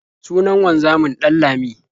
Sunan wanzamin Ɗanlami.